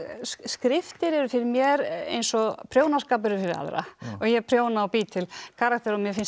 skriftir eru fyrir mér eins og prjónaskapur er fyrir aðra ég prjóna og bý til karaktera og mér finnst það